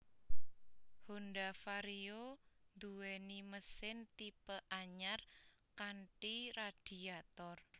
Honda Vario nduweni mesin tipe anyar kanthi radiator